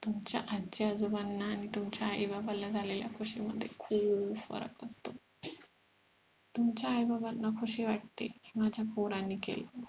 तुमच्या आजी आजोबांना आणि तुमच्या आई बाबाला झालेल्या खुशी मध्ये खूप फरक असतो तुमच्या आई बाबांना खुशी वाटते की माझ्या पोराने केलं